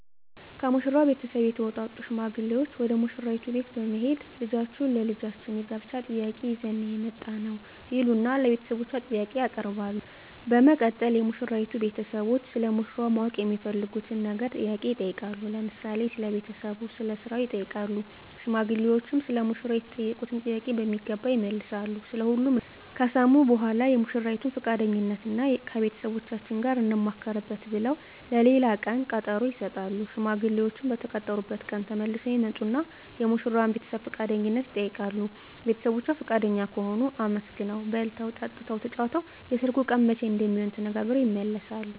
ከሙሽራው ቤተሰብ የተውጣጡ ሽማግሌዎች ወደ ሙሽራይቱ ቤት በመሄድ ልጃችሁን ለልጃችን የጋብቻ ጥያቄ ይዘን ነው የመጣነው ይሉና ለቤተሰቦቿ ጥያቄ ያቀርባሉ በመቀጠል የሙሽራይቱ ቤተሰቦች ስለ ሙሽራው ማወቅ የሚፈልጉትን ነገር ጥያቄ ይጠይቃሉ ለምሳሌ ስለ ቤተሰቡ ስለ ስራው ይጠይቃሉ ሽማግሌዎችም ሰለ ሙሽራው የተጠየቁትን ጥያቄ በሚገባ ይመልሳሉ ስለ ሁሉም ነገር ከሰሙ በኃላ የሙሽራይቱን ፍቃደኝነት እና ከቤተሰቦቻችን ጋር እንማከርበት ብለው ለሌላ ቀን ቀጠሮ ይሰጣሉ። ሽማግሌዎችም በተቀጠሩበት ቀን ተመልሰው ይመጡና የሙሽራዋን ቤተሰብ ፍቃደኝነት ይጠይቃሉ ቤተሰቦቿ ፍቃደኛ ከሆኑ አመስግነው በልተው ጠጥተው ተጫውተው የሰርጉ ቀን መቼ እንደሚሆን ተነጋግረው ይመለሳሉ።